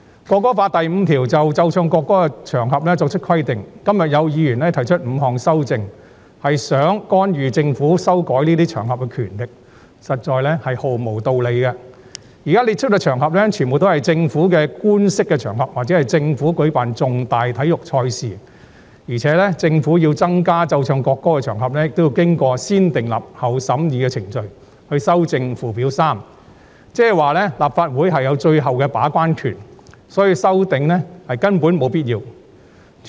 《條例草案》第5條就"須奏唱國歌的場合"作出規定，今天有議員提出5項修正案，是想干預修改這些場合的權力，實在毫無道理，因為現在列出的場合全部都是政府的官式場合，或政府舉辦大型體育賽事的場合，而且政府要增加奏唱國歌的場合也要經過"先訂立後審議"的程序以修訂附表 3， 即是說，立法會有最後的把關權，所以這些修正案根本沒有必要。